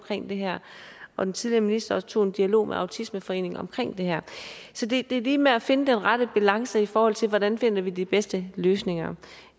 det her og den tidligere minister tog også en dialog med autismeforeningen om det her så det er lige med at finde den rette balance i forhold til hvordan vi finder de bedste løsninger